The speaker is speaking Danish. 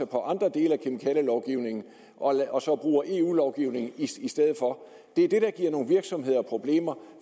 på andre dele af kemikalielovgivningen og så bruger eu lovgivningen i stedet for det er det der giver nogle virksomheder problemer